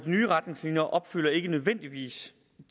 nye retningslinjer opfylder ikke nødvendigvis